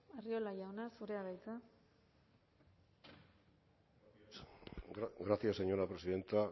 arriola jauna zurea da hitza gracias señora presidenta